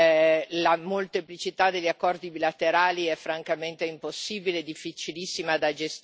la molteplicità degli accordi bilaterali è francamente impossibile e difficilissima da gestire.